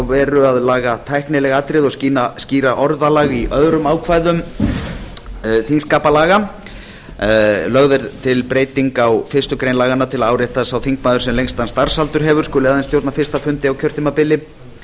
veru að laga tæknileg atriði og skýra orðalag í öðrum ákvæðum þingskaparlaga lögð er til breyting á fyrstu grein laganna til að árétta að sá þingmaður sem hefur lengstan starfsaldur skuli aðeins stjórna fyrsta fundi á kjörtímabili